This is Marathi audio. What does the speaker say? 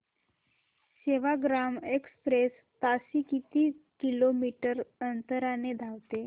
सेवाग्राम एक्सप्रेस ताशी किती किलोमीटर अंतराने धावते